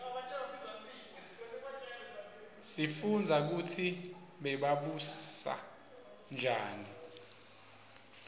sifundza kutsi bebabusa njani